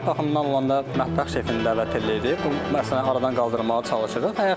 Yemək baxımından olanda mətbəx şefini dəvət eləyirik, bu məsələni aradan qaldırmağa çalışırıq.